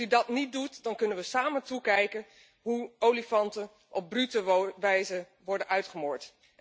Als u dat niet doet, dan kunnen we samen toekijken hoe olifanten op brute wijze worden uitgemoord.